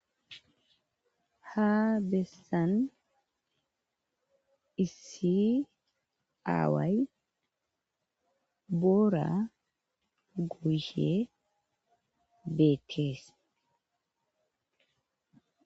ha beessan issi aaway boora goyshe beettees